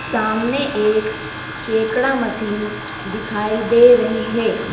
सामने एक केकड़ा मशीन दिखाई दे रही है।